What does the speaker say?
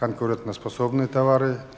конкурентоспособные товары